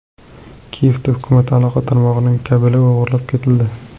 Kiyevda hukumat aloqa tarmog‘ining kabeli o‘g‘irlab ketildi.